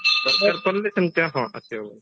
ଦରକାର ପଡିଲେ ସେମିତି ଆମର ଆସିହବନି